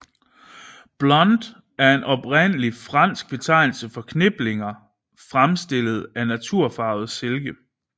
Blonde er en oprindelig fransk betegnelse for kniplinger fremstillet af naturfarvet silke